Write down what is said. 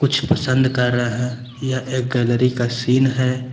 कुछ पसंद कर रहे हैं यह एक गैलरी का सीन है।